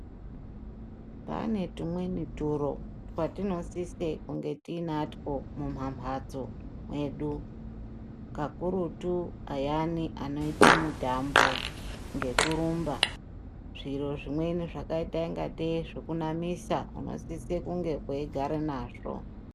Pane tumweni turo twatinosise kunge tinatwo mumamhatso mwedu. Kakurutu ayani anoite mutambo ngekurumba. Zviro zvimweni zvakaita ingatei zvekunamisa tinosise kunge teigara nazvo.